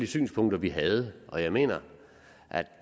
synspunkter vi havde og jeg mener at